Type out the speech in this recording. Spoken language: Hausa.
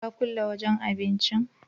Ka kulle wajan abincin